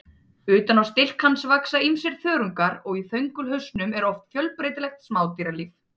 Utan á stilk hans vaxa ýmsir þörungar og í þöngulhausnum er oft fjölbreytilegt smádýralíf.